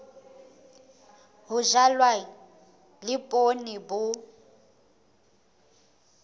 ho jalwa le poone bo